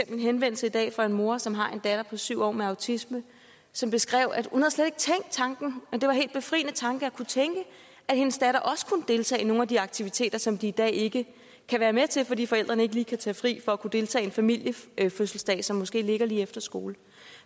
en henvendelse i dag fra en mor som har en datter på syv år med autisme som beskrev at hun slet ikke havde tænkt tanken og at det var helt befriende tanke at kunne tænke at hendes datter også kunne deltage i nogle af de aktiviteter som de i dag ikke kan være med til fordi forældrene ikke lige kan tage fri for kunne deltage i en familiefødselsdag som måske ligger lige efter skole